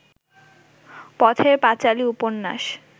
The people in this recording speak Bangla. পথের পাঁচালী উপন্যাস